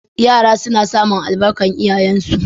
Yara suna samun albarkar iyayensu.